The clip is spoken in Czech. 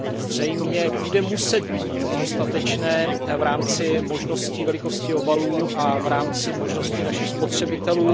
Zřejmě bude muset být dostatečné v rámci možností velikostí obalů a v rámci možností našich spotřebitelů.